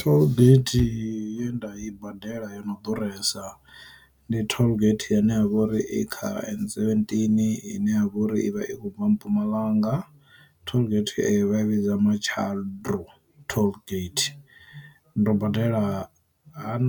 Tollgate ye nda i badela yo no ḓuresa ndi tollgate yane ha vha uri i kha N seventeen ine ya vha uri ivha i kho vha Mpumalanga, Tollgate eyo vhidza Matshaldro Tollgate, ndo badela han